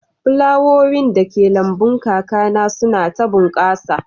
Flawowin dake lambun kakana suna ta bunƙasa